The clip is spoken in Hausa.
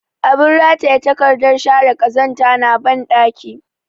Abin rataye takardar share ƙazanta na banɗaki